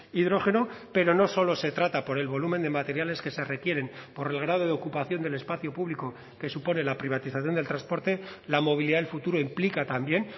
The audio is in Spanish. hidrógeno pero no solo se trata por el volumen de materiales que se requieren por el grado de ocupación del espacio público que supone la privatización del transporte la movilidad del futuro implica también